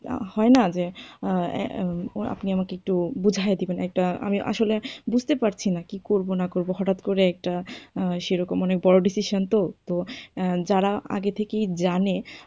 হয় না যে, আপনি আমাকে একটু বুঝাইয়া দিবেন একটা আমি আসলে বুঝতে পারছি না কি করব না করব, হটাৎ করে একটা সেরকম মনে বড়ো decision তো, তো যারা আগে থেকেই জানে,